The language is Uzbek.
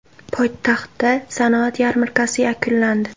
Poytaxtda sanoat yarmarkasi yakunlandi .